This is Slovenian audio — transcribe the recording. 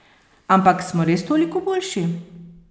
Ampak, smo res toliko boljši?